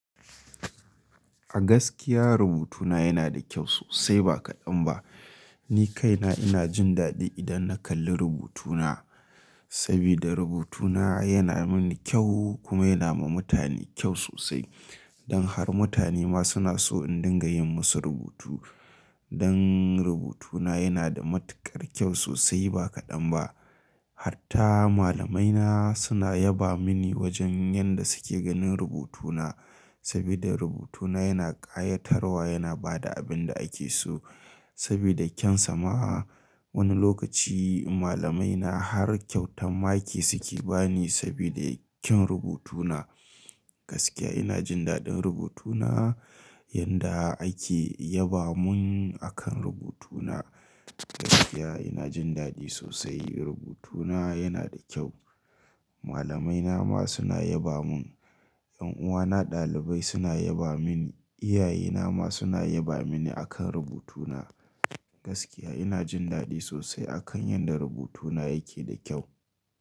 A gaskiya rubutuna yana da kyau sosai ba kaɗan ba. Ni kaina ina jin daɗi idan na kalli rubutuna, sabida rubutuna yana mini kyau kuma yana ma mutane kyau sosai. Don har mutane ma suna so in dinga yin masu rubutu. Don rubutuna yana da matuƙar kyau sosai ba kaɗan ba. Harta malamaina suna yaba mini wajen yadda suke ganin rubutuna, sabida rubutuna yana ƙayatarwa yana ba da abin da ake so sabida kyan sama. Wani lokaci malamaina har kyautan maki suke ba ni sabida kyan rubutuna. Gaskiya ina jin daɗin rubutuna. Yanda ake yaba mun akan rubutuna. Gaskiya ina jin daɗi sosai rubutuna yana da kyau. Malamaina ma suna yaba mun, 'yan uwana ɗalibai suna yaba mini, iyaye ma suna yaba mini akan rubutuna. Gaskiya ina jin daɗi sosai akan yadda rubutuna yake da kyau.